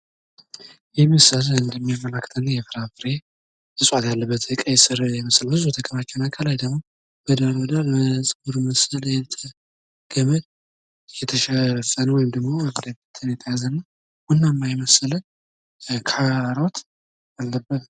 እንደ ቲማቲም፣ ሰላጣ፣ ካሮትና የመሳሰሉት በምግብ ዝግጅት በብዛት ጥቅም ላይ የሚውሉ አትክልቶች።